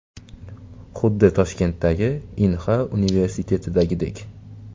Xuddi Toshkentdagi Inha universitetidagidek.